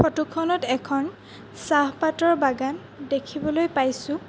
Photo খনত এখন চাহপাতৰ বাগান দেখিবলৈ পাইছোঁ।